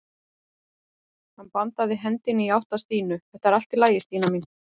Hann bandaði hendinni í átt að Stínu: Þetta er allt í lagi Stína mín.